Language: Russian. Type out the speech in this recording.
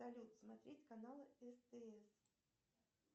салют смотреть каналы стс